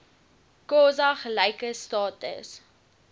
xhosa gelyke status